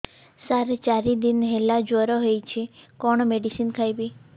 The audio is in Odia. ସାର ଚାରି ଦିନ ହେଲା ଜ୍ଵର ହେଇଚି କଣ ମେଡିସିନ ଖାଇବି